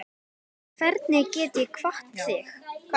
Hvernig get ég kvatt þig?